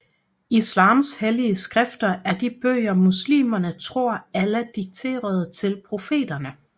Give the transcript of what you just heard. Islams hellige skrifter er de bøger muslimer tror Allah dikterede til profeterne